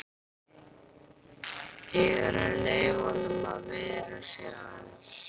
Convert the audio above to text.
Ég er að leyfa honum að viðra sig aðeins.